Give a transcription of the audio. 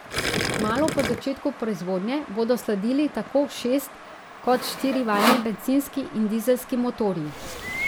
Kmalu po začetku proizvodnje bodo sledili tako šest kot štirivaljni bencinski in dizelski motorji.